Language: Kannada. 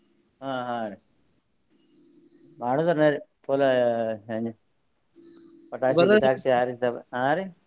ಹ ಹ ರೀ ಹಾ ರೀ.